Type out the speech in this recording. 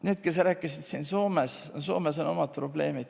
Need, kes rääkisid siin Soomest, Soomes on omad probleemid.